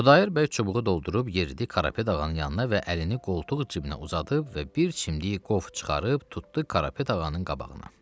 Xudayar bəy çubuğu doldurub yeridi Karapet ağanın yanına və əlini qoltuq cibinə uzadıb və bir çimdik qof çıxarıb tutdu Karapet ağanın qabağına.